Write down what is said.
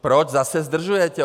Proč zase zdržujete?